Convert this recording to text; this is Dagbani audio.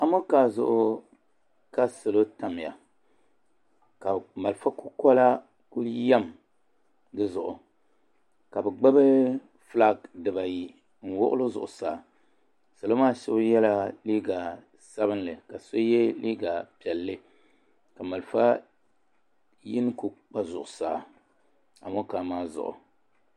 Amonkaa zuɣu ka salo tamiya ka .malfa kukola kuli yiɛm di zuɣu ka bi gbubi flaki di ba ayi n wuɣi li zuɣusaa salo maa so yiɛla liiga sabinli ka so yiɛ liiga piɛlli ka malfa yini kuli kpa zuɣusaa amonkaa maa zuɣu.